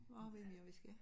Hvad har vi mere vi skal